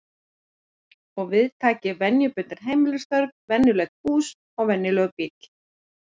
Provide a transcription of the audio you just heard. Og við taki venjubundin heimilisstörf, venjulegt hús, venjulegur bíll.